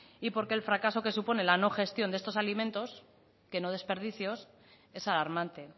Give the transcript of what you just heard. y porque el fracaso que supone la no gestión de estos alimentos que no desperdicios es alarmante